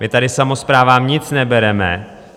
My tady samosprávám nic nebereme.